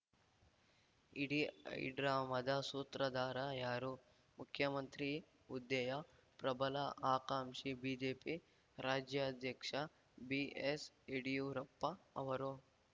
ಇಡೀ ಹೈಡ್ರಾಮಾದ ಸೂತ್ರಧಾರ ಯಾರು ಮುಖ್ಯಮಂತ್ರಿ ಹುದ್ದೆಯ ಪ್ರಬಲ ಆಕಾಂಕ್ಷಿ ಬಿಜೆಪಿ ರಾಜ್ಯಾಧ್ಯಕ್ಷ ಬಿಎಸ್‌ಯಡ್ಯೂರಪ್ಪ ಅವರೋ